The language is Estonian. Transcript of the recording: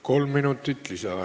Kolm minutit lisaaega.